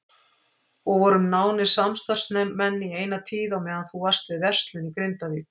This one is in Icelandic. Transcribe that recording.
Og vorum nánir samstarfsmenn í eina tíð á meðan þú varst við verslun í Grindavík.